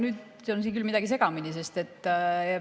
Nüüd on küll midagi segamini läinud.